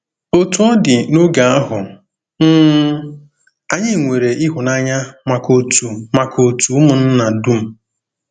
Otú ọ dị, n'otu oge ahụ, um anyị 'nwere ịhụnanya maka òtù maka òtù ụmụnna dum.